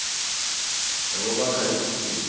nabomakhale khukhwini